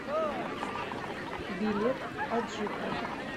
билет аджика